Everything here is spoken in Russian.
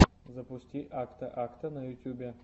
запусти акта акта на ютубе